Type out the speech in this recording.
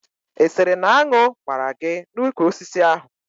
Ị sịrị na añụ gbaara gị n'úkwù osisi ahụ?